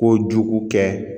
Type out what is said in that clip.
Kojugu kɛ